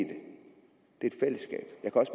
det